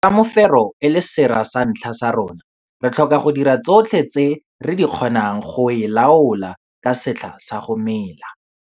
Ka mefero e le sera sa ntlha sa rona, re tlhoka go dira tsotlhe tse re di kgonang go e laola ka setlha sa go mela.